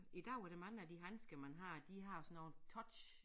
I dag er der mange af de handsker man har de har sådan noget touch